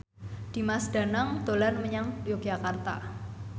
Dimas Danang dolan menyang Yogyakarta